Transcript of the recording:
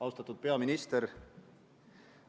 Austatud peaminister!